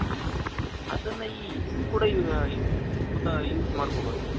ಅದನ್ನ ಹಿಂಗ್ ಕೂಡ ಈ use ಮಾಡ್ಕೋಬಹುದು ನಾವು